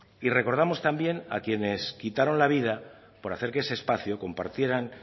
y recordamos también a quienes quitaron la vida por hacer que ese espacio compartiera